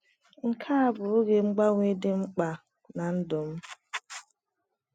Nke a bụ oge mgbanwe dị mkpa ná ndụ m.